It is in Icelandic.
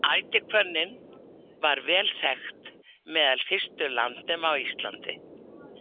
Ætihvönnin var vel þekkt meðal fyrstu landnema á Íslandi.